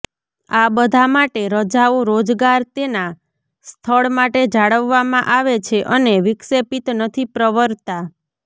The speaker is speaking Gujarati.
આ બધા માટે રજાઓ રોજગાર તેના સ્થળ માટે જાળવવામાં આવે છે અને વિક્ષેપિત નથી પ્રવરતા